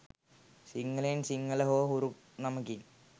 සිංහලෙන් සිංහල හෝ හුරු නමකින්